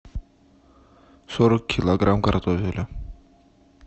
сорок килограмм картофеля